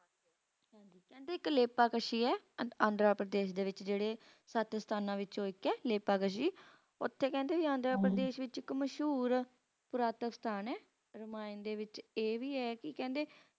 ਕਹਿੰਦੇ ਇਕ ਲੈਕਕਸ਼ੀ ਹੈ ਆਂਧਰਾ ਪ੍ਰਦੇਸ਼ ਜ਼ਿਲੇ ਵਿਚ ਅਜਿਹੇ ਸਥਾਨਾਂ ਵਿੱਚੋਂ ਇਕ